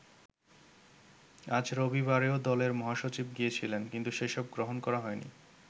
আজ রবিবারেও দলের মহাসচিব গিয়েছিলেন কিন্তু সেসব গ্রহণ করা হয়নি।